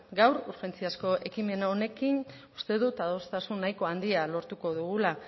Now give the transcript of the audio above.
gaur urgentziazko ekimen honekin uste dut adostasun nahiko handia lortuko dugula